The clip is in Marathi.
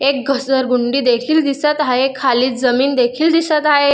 एक घसरगुंडी देखील दिसत आहे खाली जमीन देखील दिसत आहे.